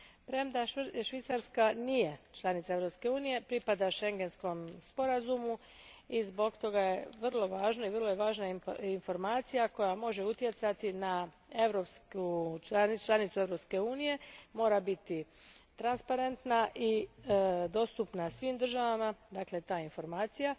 Premda Švicarska nije članica Europske unije, pripada Schengenskom sporazumu i zbog toga je vrlo važno, i vrlo je važna informacija koja može utjecati na članice Europske unije, mora biti transparentna i dostupna svim državama, dakle ta informacija,